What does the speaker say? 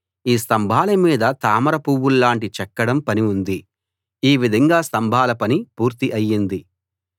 ఈ స్తంభాల మీద తామర పూవుల్లాంటి చెక్కడం పని ఉంది ఈ విధంగా స్తంభాల పని పూర్తి అయ్యింది